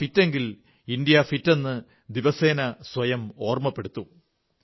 നാം ഫിറ്റെങ്കിൽ ഇന്ത്യാ ഫിറ്റെന്ന് ദിവസേന സ്വയം ഓർമ്മപ്പെടുത്തൂ